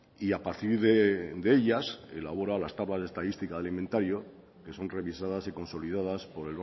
y a partir de ellas elabora las tablas de estadística al inventario que son revisadas y consolidadas por